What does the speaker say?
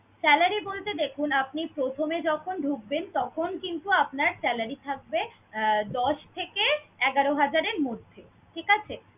salary বলতে দেখুন আপনি প্রথমে যখন ঢুকবেন তখন কিন্তু আপনার salary থাকবে আহ দশ থেকে এগারো হাজারের মধ্যে, ঠিক আছে?